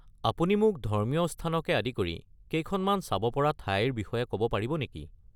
আপুনি মোক ধৰ্মীয় স্থানকে আদি কৰি কেইখনমান চাব পৰা ঠাইৰ বিষয়ে ক’ব পাৰিব নেকি?